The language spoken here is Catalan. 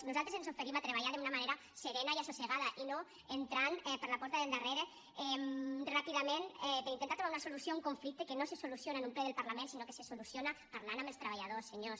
nosaltres ens oferim a treballar d’una manera serena i assossegada i no entrant per la porta del darrere ràpidament per intentar trobar una solució a un conflicte que no se soluciona en un ple del parlament sinó que se soluciona parlant amb els treballadors senyors